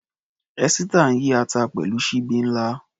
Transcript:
Esita ń yí ata pẹ̀lú ṣíbí ńlá.